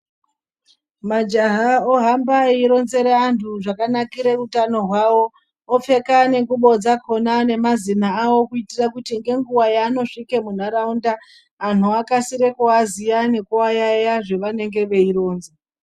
Majaha ohamba eironzera anthu zvakanakira utano hwao opfeka nengubo dzakona nemazina ao kuitira kuti nenguwa yaanosvika muntharaunda angu akasire kuaziya nekuayaiya zvaanengana eironza.